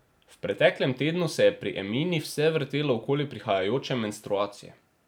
V preteklem tednu se je pri Emini vse vrtelo okoli prihajajoče menstruacije.